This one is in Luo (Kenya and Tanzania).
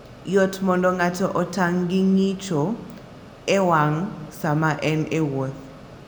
Yot mondo ng'ato otang' gi ng'icho e wang'yo sama en e wuoth.